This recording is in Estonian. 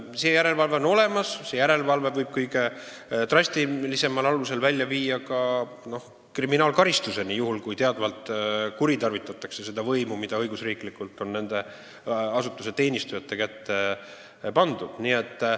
See järelevalve on olemas, see järelevalve võib kõige drastilisemal korral välja viia kriminaalkaristuseni, kui teadvalt on kuritarvitatud võimu, mis õigusriigis on nende asutuste töötajate kätte antud.